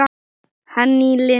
Henný Lind.